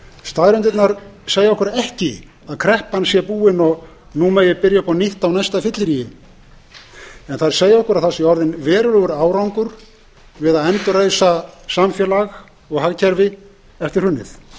staðreyndirnar segja okkur ekki að kreppan sé búin og að nú megi byrja upp á nýtt á næsta fylliríi en þær segja okkur að það sé orðinn verulegur árangur við að endurreisa samfélag og hagkerfi eftir hrunið